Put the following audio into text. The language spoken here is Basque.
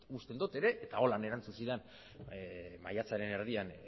uste dut ere eta horrela erantzun zidan maiatzaren erdian